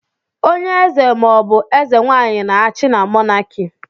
Onye eze ma ọ bụ eze nwaanyị na-achị na Mọnaki.